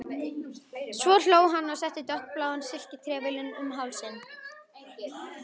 Svo hló hann og setti dökkbláan silkitrefilinn um hálsinn.